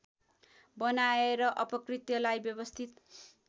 बनाएर अपकृत्यलाई व्यवस्थित